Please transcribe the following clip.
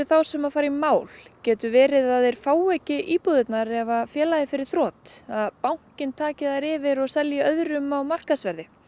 þá sem fara í mál getur verið að þeir fái ekki íbúðirnar ef félagið fer í þrot að bankinn taki þær yfir og selji þær öðrum á markaðsverði